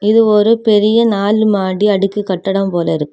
இது ஒரு பெரிய நாலு மாடி அடுக்கு கட்டடம் போலிருக்கு.